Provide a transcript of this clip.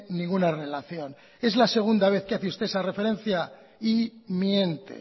ninguna relación es la segunda vez que hace usted esa referencia y miente